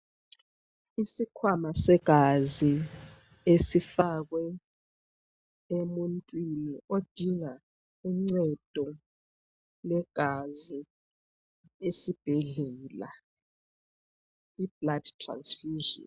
Isikhwama segazi esifakwe emuntwini odinga uncedo lwegazi esibhedlela iblood transfusion.